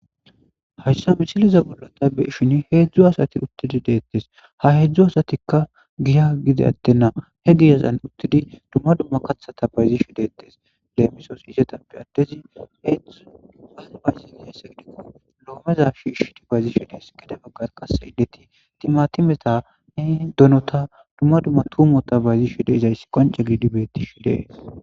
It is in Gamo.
Haysa misileza bolla tay be'ishshin hezhzhu asati uttidi dettes ha hezhzhu asatika giyan gide attena dumma dumma kaththata bayzishe dettes lemisos izzetappe adezi lometa bayzishe dess gede baggara qasse indet timatimeta doonota dumma dumma tumotta bayzishe deizayssi qoncce gididi bettes.